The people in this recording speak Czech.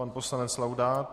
Pan poslanec Laudát.